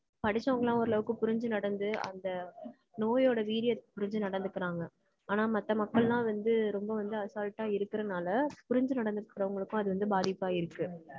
படிச்சவங்கலாம் ஓரளவுக்கு புரிஞ்சு நடந்து அந்த நோயோட வீரியத்த புரிஞ்சு நடந்துக்கறாங்க. ஆனா மத்த மக்கள்லாம் வந்து ரொம்ப வந்து அசால்ட்டா இருக்கறதனால புரிஞ்சு நடந்துக்கறவங்களுக்கும் அது வந்து பாதிப்பா இருக்கு.